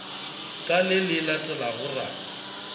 ka le le latelago ra